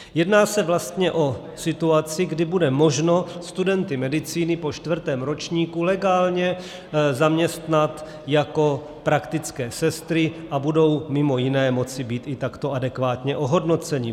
Jedná se vlastně o situaci, kdy bude možno studenty medicíny po čtvrtém ročníku legálně zaměstnat jako praktické sestry a budou mimo jiné moci být i takto adekvátně ohodnoceni.